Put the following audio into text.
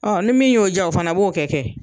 Ɔ ni min y'o ja o fana b'o kɛ kɛ.